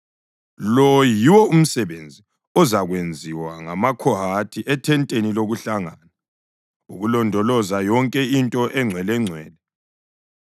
Lo yiwo umsebenzi ozakwenziwa ngamaKhohathi ethenteni lokuhlangana, ukulondoloza yonke into engcwelengcwele.